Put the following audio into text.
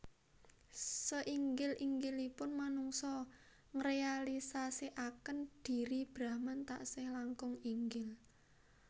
Seinggil inggilipun manungsa ngrealisasikaken dhiri Brahman taksih langkung inggil